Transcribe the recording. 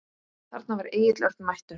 Þarna var Egill Örn mættur.